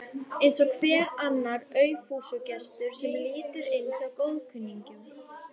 Eins og hver annar aufúsugestur sem lítur inn hjá góðkunningjum.